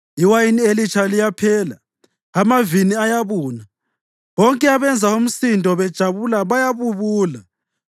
Iwayini elitsha liyaphela, amavini ayabuna; bonke abenza umsindo bejabula bayabubula.